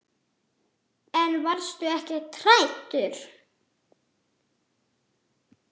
En varstu ekki hræddur?